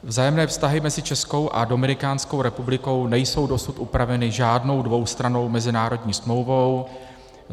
Vzájemné vztahy mezi Českou a Dominikánskou republikou nejsou dosud upraveny žádnou dvoustrannou mezinárodní smlouvou.